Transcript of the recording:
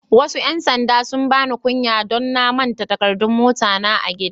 Wasu yan sanɗa sun bani kunya don na manta da takaddun mota na a'gida.